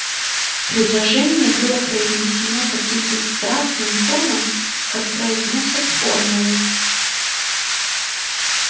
предложение было произнесено таким бесстрастным тоном как произносят формулы